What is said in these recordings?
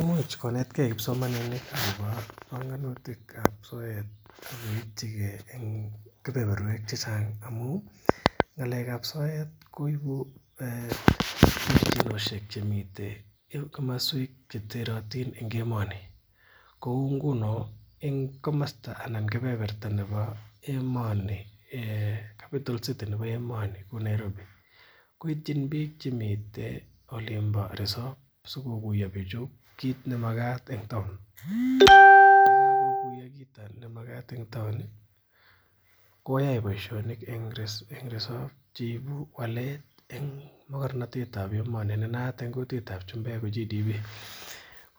Imuch konetgee kipsomaninik akobo bongunutik ab soet ak koipchigee en kebeberwek chechang amun ng'alek ab soet koibu terchinosiek chemiten en komoswek cheterotin en emoni kou nguno en komosta anan kebeberta nebo emoni capital city nebo emoni ko Nairobi koityin biik chemiten olin bo resop sikokuiyo bichu kit nemakat eng town ko kakokuiyo kit nemakat eng town ih koyai boisionik en resop cheibu walet en mokornotet ab emoni ne naat en kutit ab chumbek ko Gross Domestic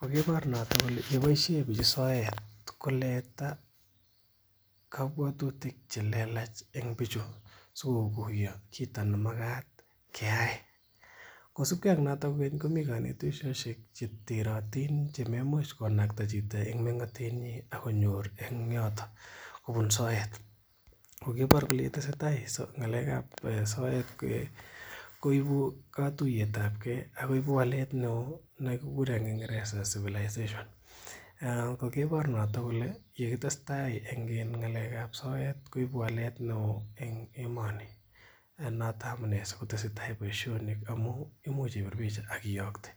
Product ko kibor noton kole boisien bichu soet koleta kobwotutik chelelach en bichu sikokuiyo kit nemakat keyai kosibgee ak noton komii konetisosiek cheterotin chemoimuch konakta chito en meng'otet nyin ak konyor en yoton kobun soet ak kibor kole tesetai ng'alek ab soet koibu katuiyet ab gee ak koibu walet neoo nekikuren en kingereza civilization kokibor noton kole yekitestai en ng'alek ab soet koibu walet neoo en emoni ak noton amunee sikotesetai boisionik amu imuch ibir picha ak iyokte